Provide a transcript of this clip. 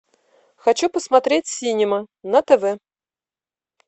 хочу посмотреть синема на тв